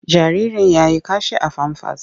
Jaririn ya yi kashi a famfas.